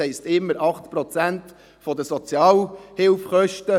Es heisst immer 8 Prozent der Sozialhilfekosten.